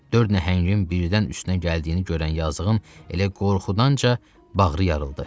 Dörd nəhəngin birdən üstünə gəldiyini görən yazığın elə qorxudanca bağrı yarıldı.